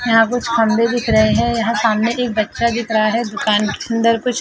यहां कुछ खंबे दिख रहे है यहां सामने एक बच्चा दिख रहा है दुकान के अंदर --